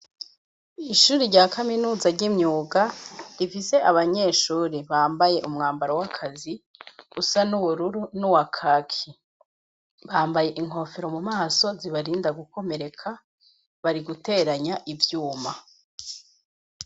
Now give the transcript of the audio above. Ishure rya kaminuz ry'imyuga, rifise abanyeshure, bambaye umwambaro w'akazi, usa n'ubururu n'uwakaki; bambaye inkofero mu maso zibarinda gukomereka, bari guteranya ivyuma.